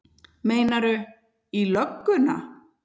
Meinarðu. í lögguna?